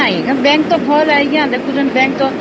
ନାଇଁ ଆଜ୍ଞା bank ତ ଭଲ